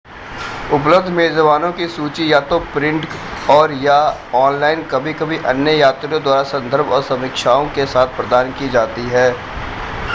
उपलब्ध मेज़बानों की सूची या तो प्रिंट और/या ऑनलाइन कभी-कभी अन्य यात्रियों द्वारा संदर्भ और समीक्षाओं के साथ प्रदान की जाती है